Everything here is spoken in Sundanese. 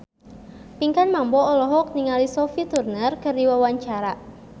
Pinkan Mambo olohok ningali Sophie Turner keur diwawancara